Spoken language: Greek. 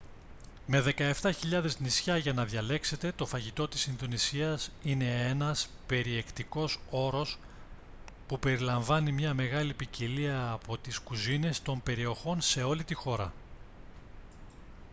με 17.000 νησιά για να διαλέξετε το φαγητό της ινδονησίας είναι ένας περιεκτικός όρος που περιλαμβάνει μια μεγάλη ποικιλία από τις κουζίνες των περιοχών σε όλη τη χώρα